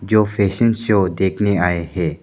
जो शो देखने आए हैं।